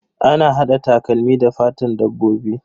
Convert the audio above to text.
Ana hada takalmi da fatan dabbobi.